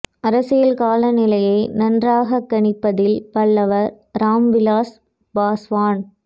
அரசியல் காலநிலையை நன்றாக கணிப்பதில் வல்லவர் ராம் விலாஸ் பாஸ்வான்